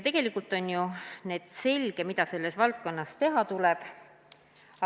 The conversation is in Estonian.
Tegelikult on ju selge, mida selles valdkonnas teha tuleb.